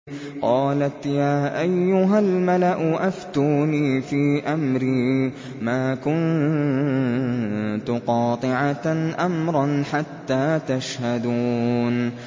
قَالَتْ يَا أَيُّهَا الْمَلَأُ أَفْتُونِي فِي أَمْرِي مَا كُنتُ قَاطِعَةً أَمْرًا حَتَّىٰ تَشْهَدُونِ